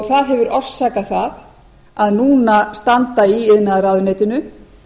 það hefur orsakað það að núna standa í iðnaðarráðuneytinu